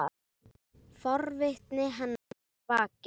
Forvitni hennar er vakin.